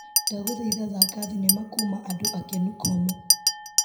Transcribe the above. Ndagũthaitha thaka thinema kuma andũ akenu komu.